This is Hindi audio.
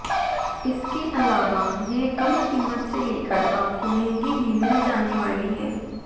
इसके अलावा यह कम कीमत से लेकर आपको महँगी भी मिल जाने वाली हैं